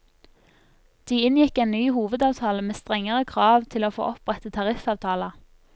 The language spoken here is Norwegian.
De inngikk en ny hovedavtale med strengere krav til å få opprette tariffavtaler.